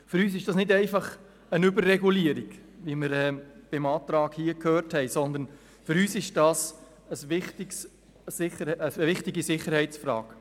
Für uns ist dies keine Überregulierung, wie wir beim Antrag auf Nichteintreten gehört haben, sondern eine wichtige Sicherheitsfrage.